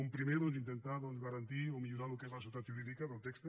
un primer doncs intentar garantir o millorar el que és la seguretat jurídica del text